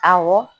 Awɔ